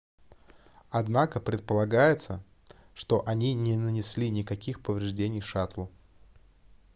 однако предполагается что они не нанесли никаких повреждений шаттлу